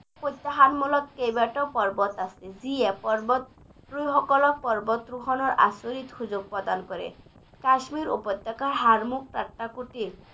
প্ৰত্যাহ্বানমূলক কেইবাটাও পৰ্বত আছে যিয়ে পৰ্বত আৰোহীসকলক পৰ্বত আৰোহনৰ আচৰিত সুযোগ প্ৰদান কৰে কাশ্মীৰ উপত্যকা হাৰমুখ